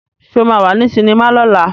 Sé o máa wà ní sinimá lọ́la?